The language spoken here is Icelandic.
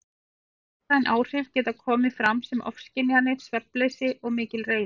Sálræn áhrif geta komið fram sem ofskynjanir, svefnleysi og mikil reiði.